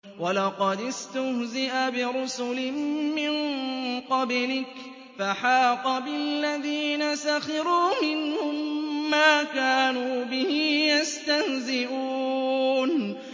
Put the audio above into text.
وَلَقَدِ اسْتُهْزِئَ بِرُسُلٍ مِّن قَبْلِكَ فَحَاقَ بِالَّذِينَ سَخِرُوا مِنْهُم مَّا كَانُوا بِهِ يَسْتَهْزِئُونَ